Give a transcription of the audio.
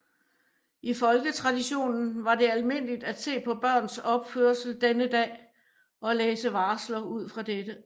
I folketraditionen var det almindeligt at se på børns opførsel denne dag og læse varsler ud fra dette